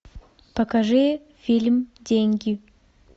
покажи фильм деньги